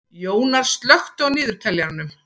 Jónar, slökktu á niðurteljaranum.